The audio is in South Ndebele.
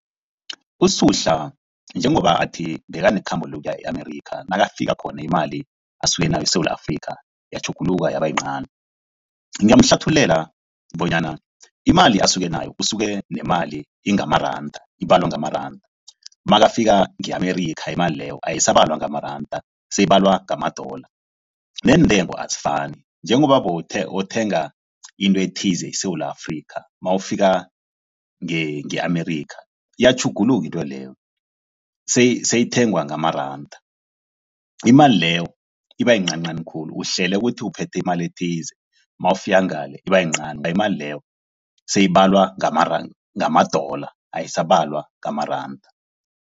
USuhla njengoba athi bekanekhambo lokuya e-America, nakafika khona imali asuke nayo eSewula Afrika yatjhuguluka yaba yincani. Ngingamuhlathululela bonyana imali asuke nayo, usuke nemali ingamaranda, ibalwa ngamaranda nakafika nge-America imali leyo ayisabalwa ngamaranda seyibalwa ngamadola. Neentengo azifani njengoba bowuthenga into ethize eSewula Afrika nawufika nge-America iyatjhuguluka intweleyo seyithengwa ngamaranda. Imali leyo iba iyincancani khulu, uhlele ukuthi uphethe imali ethize nawufika ngale iba yincani. Imali leyo seyibalwa ngamadola ayisabalwa ngamaranda.